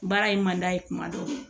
Baara in man d'a ye kuma dɔ